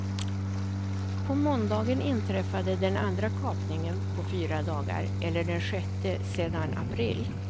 På måndagen inträffade den andra kapningen på fyra dagar, eller den sjätte sedan april.